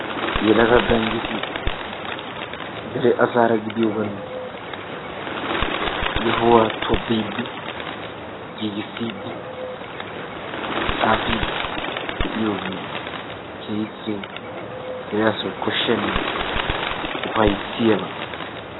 yelaga gaanjjeti dere asara gidiyoogan yohuwaa toobbidi giigissidi xaafiddi de'iyoogee keehippe dere asaw kooshiyaanne keehippe ufayssiyaaba.